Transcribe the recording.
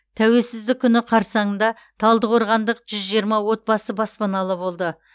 тәуелсіздік күні қарсаңында талдықорғандық жүз жиырма отбасы баспаналы болды